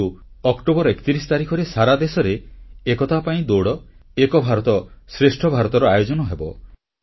କିନ୍ତୁ ଅକ୍ଟୋବର 31 ତାରିଖରେ ସାରା ଦେଶରେ ଏକତା ପାଇଁ ଦୌଡ ଏବଂ ଏକ ଭାରତ ଶ୍ରେଷ୍ଠ ଭାରତର ଆୟୋଜନ ହେବ